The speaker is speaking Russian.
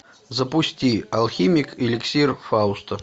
запусти алхимик эликсир фауста